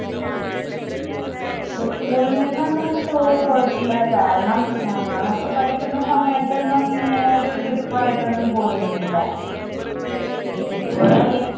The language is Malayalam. school ൽ നിന്നും ഒന്നും toure പോയിട്ടില്ല കാരണം ഞങ്ങൾ ഒക്കെ പഠിക്കുന്ന സമയത്ത് ഒന്നും ഇങ്ങനെ ഒരു trip ആയിട്ട് ഒന്നും പോയിരുന്നില്ല, ഇപ്പോഴല്ലെ